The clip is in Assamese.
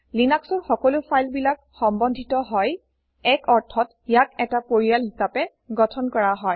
লিনাক্সৰ সকলো ফাইল বিলাক সম্বন্ধীত হয় এক অৰ্থত ইয়াক এটা পৰিয়াল হিচাপে গঠন কৰা হয়